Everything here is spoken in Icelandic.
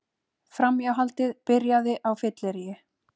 Framhjáhaldið byrjaði á fylleríi